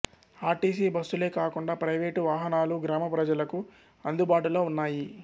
RTC బస్సులే కాకుండా private వాహనాలు గ్రామప్రజలకు అందుబాటులో ఉన్నాయి